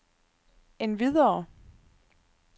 endvidere